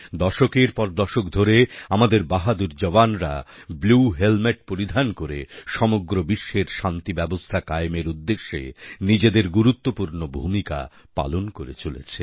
দশকের পর দশক ধরে আমাদের বাহাদুর জওয়ানরা ব্লু হেলমেট পরিধান করে সমগ্র বিশ্বের শান্তিব্যবস্থা কায়েমের উদ্দেশ্যে নিজেদের গুরুত্বপূর্ণ ভূমিকা পালন করে চলেছে